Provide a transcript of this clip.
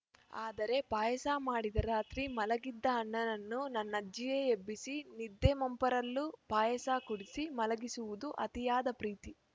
ಆದರೆ ಪಾಯಸ ಮಾಡಿದ ರಾತ್ರಿ ಮಲಗಿದ್ದ ಅಣ್ಣನನ್ನೂ ನನ್ನಜ್ಜಿಯೇ ಎಬ್ಬಿಸಿ ನಿದ್ದೆ ಮಂಪರಲ್ಲೂ ಪಾಯಸ ಕುಡಿಸಿ ಮಲಗಿಸುವುದು ಅತಿಯಾದ ಪ್ರೀತಿ